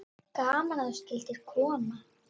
Gaman að þú skyldir koma.